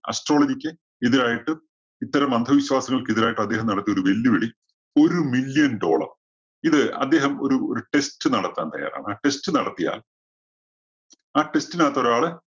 astrology ക്ക് എതിരായിട്ടും, ഇത്തരം അന്ധവിശ്വാസങ്ങൾക്ക് എതിരായിട്ടും അദ്ദേഹം നടത്തിയ ഒരു വെല്ലുവിളി ഒരു million dollar ഇത് അദ്ദേഹം ഒരു ഒരു test നടത്താൻ തയ്യാറാണ്. ആ test നടത്തിയാൽ ആ test നകത്ത് ഒരാള്